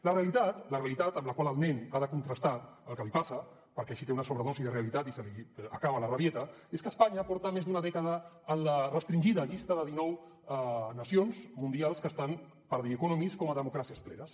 la realitat amb la qual el nen ha de contrastar el que li passa perquè així té una sobredosi de realitat i se li acaba la rebequeria és que espanya porta més d’una dècada en la restringida llista de dinou nacions mundials que estan per the economist com a democràcies plenes